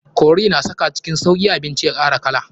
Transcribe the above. Curry na saka cikin sauki abinci ya kara kala.